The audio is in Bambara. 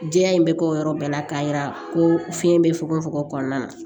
Jɛya in bɛ kɛ o yɔrɔ bɛɛ la k'a yira ko fiɲɛ bɛ fokon fokon kɔnɔna na